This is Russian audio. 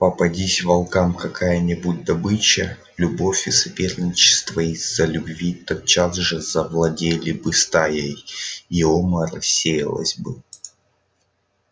попадись волкам какая нибудь добыча любовь и соперничество из-за любви тотчас же завладели бы стаей и ома рассеялась бы